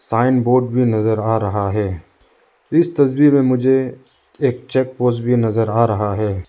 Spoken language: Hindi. साइन बोर्ड भी नजर आ रहा है इस तस्वीर में मुझे एक चेक पोस्ट भी नजर आ रहा है।